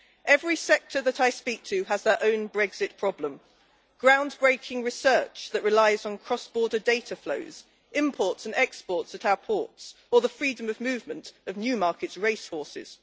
Every sector that I speak to has their own Brexit problem ground breaking research that relies on cross border data flows, imports and exports at our ports, or the freedom of movement of Newmarket's race horses.